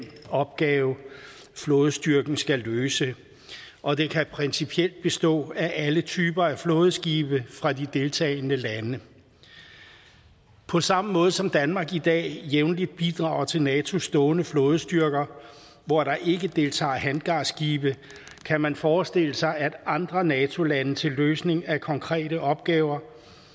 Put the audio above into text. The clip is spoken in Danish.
opgave flådestyrken skal løse og den kan principielt bestå af alle typer af flådeskibe fra de deltagende lande på samme måde som danmark i dag jævnligt bidrager til natos stående flådestyrker hvor der ikke deltager hangarskibe kan man forestille sig at andre nato lande til løsning af konkrete opgaver